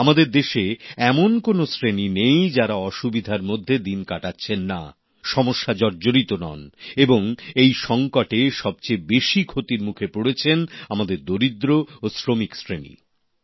আমাদের দেশে এমন কোন শ্রেণি নেই যারা অসুবিধার মধ্যে দিন কাটাচ্ছেন না সমস্যা জর্জরিত নন এবং এই সংকটে সবচেয়ে বেশি ক্ষতির মুখে পড়েছেন আমাদের দরিদ্র ও শ্রমিক শ্রেণীর মানুষেরা